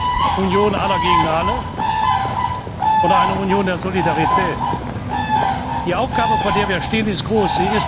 Eine Union aller gegen alle oder eine Union der Solidarität. Die Aufgabe, vor der wir stehen, ist groß.